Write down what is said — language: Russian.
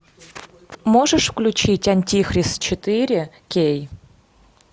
можешь включить антихрист четыре кей